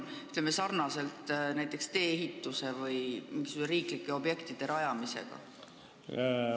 Kas need on samasugused, mis kehtivad näiteks tee-ehituse või mingisuguste muude riiklike objektide rajamise korral?